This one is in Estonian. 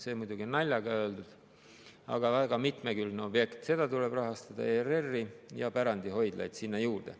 See on muidugi naljaga öeldud, aga see on väga mitmekülgne objekt, seda tuleb rahastada ning ERR‑i ja pärandihoidlaid sinna juurde.